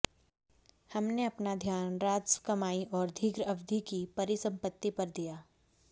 हमने अपना ध्यान राजस्व कमाई और दीर्घ अवधि की परिसंपत्ति पर दिया